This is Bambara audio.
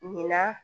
Ɲinan